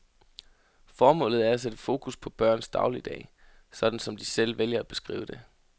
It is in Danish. Formålet er at sætte fokus på børns dagligdag, sådan som de selv vælger at beskrive det.